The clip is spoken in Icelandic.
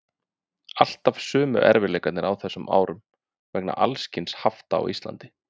Alltaf sömu erfiðleikarnir á þessum árum vegna alls kyns hafta á Íslandi.